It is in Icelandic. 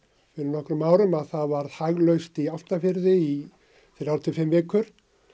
fyrir nokkrum árum varð í Álftafirði í þrjá til fimm vikur